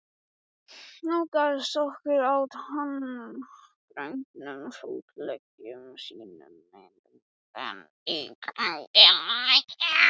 Nálgaðist okkur á tággrönnum fótleggjum sínum með dúandi göngulagi.